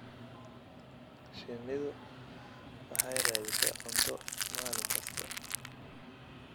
Shinnidu waxay raadisaa cunto maalin kasta.